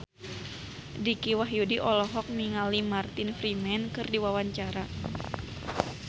Dicky Wahyudi olohok ningali Martin Freeman keur diwawancara